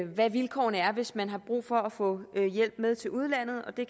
hvad vilkårene er hvis man har brug for at få hjælp med til udlandet og det